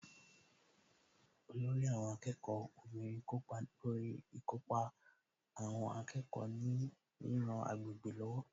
Olórí àwọn akẹ́kọ̀ọ́ obìnrin kópa lórí ìkópa àwọn akẹ́kọ̀ọ́ ní ríran agbègbè lọ́wọ́